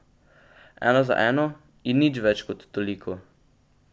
Ena za eno, in nič več kot toliko.